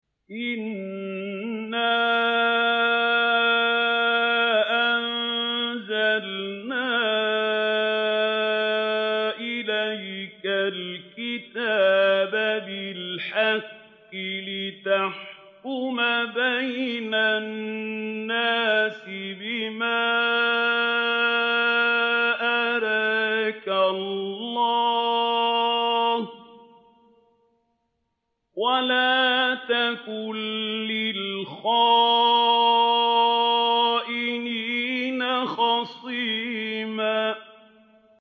إِنَّا أَنزَلْنَا إِلَيْكَ الْكِتَابَ بِالْحَقِّ لِتَحْكُمَ بَيْنَ النَّاسِ بِمَا أَرَاكَ اللَّهُ ۚ وَلَا تَكُن لِّلْخَائِنِينَ خَصِيمًا